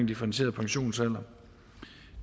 differentieret pensionsalder